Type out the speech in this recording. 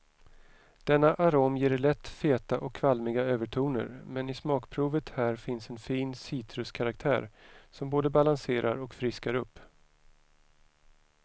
Denna arom ger lätt feta och kvalmiga övertoner, men i smakprovet här finns en fin citruskaraktär som både balanserar och friskar upp.